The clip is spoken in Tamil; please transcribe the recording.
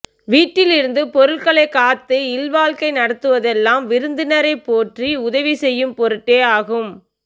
வீட்டில் இருந்து பொருள்களைக் காத்து இல்வாழ்க்கை நடத்துவதெல்லாம் விருந்தினரைப் போற்றி உதவி செய்யும் பொருட்டே ஆகும்